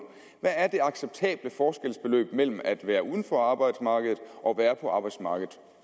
hvad er det acceptable forskelsbeløb mellem at være uden for arbejdsmarkedet og være på arbejdsmarkedet